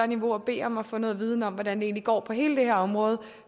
niveau og bede om at få noget viden om hvordan det egentlig går på hele det her område